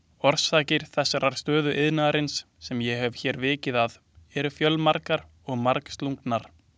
Orsakir þessarar stöðu iðnaðarins, sem ég hef hér vikið að, eru fjölmargar og margslungnar.